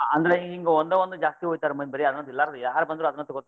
ಅಂದ್ರ್ ಈಗ ಒಂದ ಒಂದ್ ಜಾಸ್ತಿ ಒಯ್ಯ್ತಾರ್ ಮಂದಿ ಬರೇ ಅದನ್ನ ಎಲ್ಲಾರು ಯಾರ್ ಬಂದ್ರು ಅದನ್ನ ತಗೋತಾರ.